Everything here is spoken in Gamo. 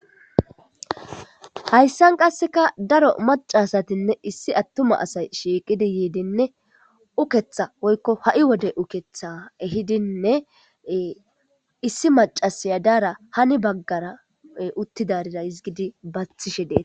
hayssan qasseka daro maca asatinne issi attuma asay shiiqidi yiidinne uketha woykko ha7i wode uketha ehidinne issi macasaya daara hani baggara uttidarira izgidi bathishe deet